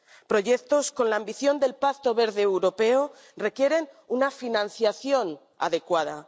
Proyectos con la ambición del Pacto Verde Europeo requieren una financiación adecuada.